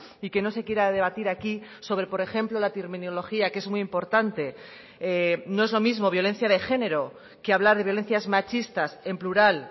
y que no se quiera debatir aquí sobre por ejemplo la terminología que es muy importante no es lo mismo violencia de género que hablar de violencias machistas en plural